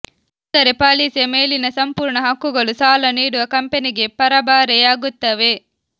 ಅಂದರೆ ಪಾಲಿಸಿಯ ಮೇಲಿನ ಸಂಪೂರ್ಣ ಹಕ್ಕುಗಳು ಸಾಲ ನೀಡುವ ಕಂಪನಿಗೆ ಪರಭಾರೆಯಾಗುತ್ತವೆ